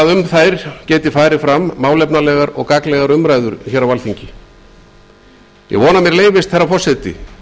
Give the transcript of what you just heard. að um þau geti farið fram málefnalegar og gagnlegar umræður hér á alþingi ég vona að mér leyfist herra forseti